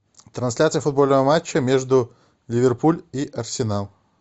трансляция футбольного матча между ливерпуль и арсенал